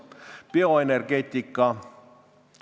Kas bioenergeetika?